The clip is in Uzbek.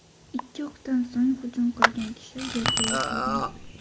Ikki o‘qdan so‘ng hujum qilgan kishi yerga yiqilgan.